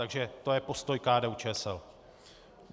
Takže to je postoj KDU-ČSL.